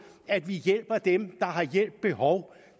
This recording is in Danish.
at vi hjælper dem der har hjælp behov